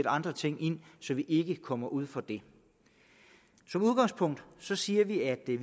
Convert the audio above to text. andre ting så vi ikke kommer ud for det som udgangspunkt siger vi at vi